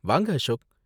வாங்க அசோக்.